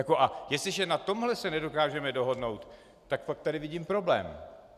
A jestliže na tomhle se nedokážeme dohodnout, tak pak tady vidím problém.